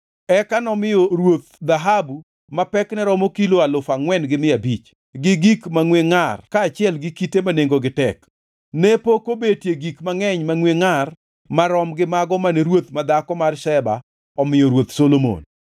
Eka nomiyo ruoth dhahabu ma pekne romo kilo alufu angʼwen mia abich, gi gik mangʼeny mangʼwe ngʼar kaachiel gi kite ma nengogi tek. Ne pok obetie gik mangʼeny mangʼwe ngʼar marom gi mago mane Ruoth madhako mar Sheba omiyo Ruoth Solomon.